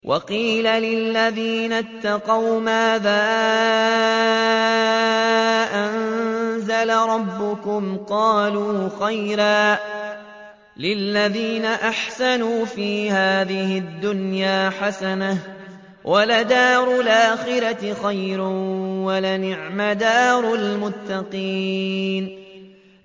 ۞ وَقِيلَ لِلَّذِينَ اتَّقَوْا مَاذَا أَنزَلَ رَبُّكُمْ ۚ قَالُوا خَيْرًا ۗ لِّلَّذِينَ أَحْسَنُوا فِي هَٰذِهِ الدُّنْيَا حَسَنَةٌ ۚ وَلَدَارُ الْآخِرَةِ خَيْرٌ ۚ وَلَنِعْمَ دَارُ الْمُتَّقِينَ